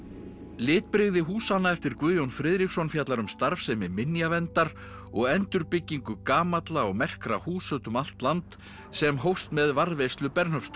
litbrigði húsanna eftir Guðjón Friðriksson fjallar um starfsemi minjaverndar og endurbyggingu gamalla og merkra húsa út um allt land sem hófst með varðveislu